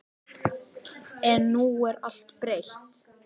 En nú er allt breytt.